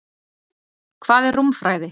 Hvað er rúmfræði?